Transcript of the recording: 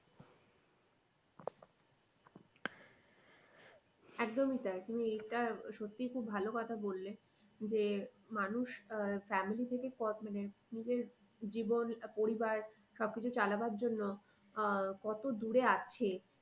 একদমই তাই তুমি এইটা সত্যি খুব ভালো কথা বললে যে মানুষ আহ family থেকে মানে নিজের জীবন পরিবার সব কিছু চালাবার জন্য আহ কত দূরে আছে